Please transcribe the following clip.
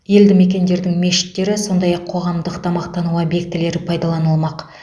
елді мекендердің мешіттері сондай ақ қоғамдық тамақтану объектілері пайдаланылмақ